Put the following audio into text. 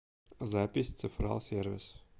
запись цифрал сервис